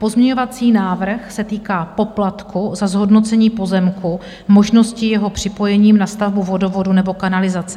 Pozměňovací návrh se týká poplatku za zhodnocení pozemku možností jeho připojení na stavbu vodovodu nebo kanalizace.